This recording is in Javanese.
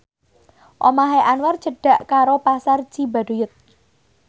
omahe Anwar cedhak karo Pasar Cibaduyut